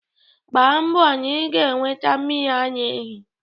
Mgbá mbọ na ị ga-eweta mmiri ara ehi!